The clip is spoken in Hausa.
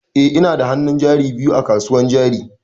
Eh ina da hannun jari biyu a kasuwan jari.